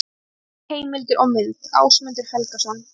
Helstu heimildir og mynd: Ásmundur Helgason.